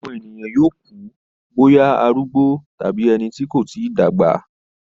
Àwọn ènìyàn yóò kú bóyá arúgbó tàbí ẹni tí kò tí dàgbà.